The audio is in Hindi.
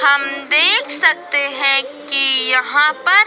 हम देख सकते हैं कि यहां पर--